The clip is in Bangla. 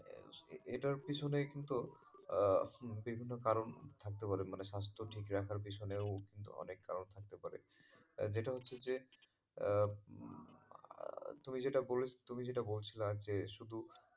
এটার পেছনে কিন্তু আহ বিভিন্ন কারন থাকতে পারে মানে স্বাস্থ্য ঠিক রাখার পিছনে অনেক কারন থাকতে পারে। যেটা হচ্ছে যে আহ তুমি যেটা বলে তুমি যেটা বলছিলা যে শুধু,